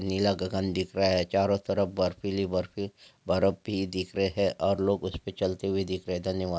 नीला गगन दिख रहा है चारों तरफ बर्फीली बर्फी बर्फ भी दिख रहे है और लोग उस पे चलते हुए दिख रहे है धन्यवाद।